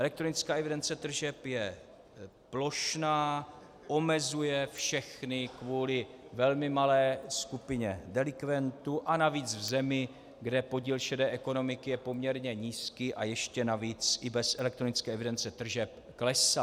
Elektronická evidence tržeb je plošná, omezuje všechny kvůli velmi malé skupině delikventů a navíc v zemi, kde podíl šedé ekonomiky je poměrně nízký a ještě navíc i bez elektronické evidence tržeb klesá.